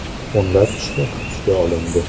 O‘nlab kishi hibsga olindi.